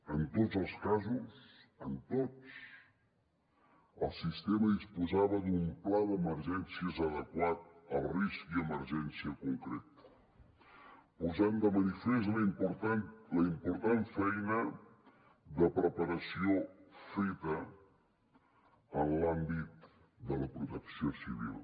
en tots els casos en tots el sistema disposava d’un pla d’emergències adequat al risc i emergència concrets i posava de manifest la important feina de preparació feta en l’àmbit de la protecció civil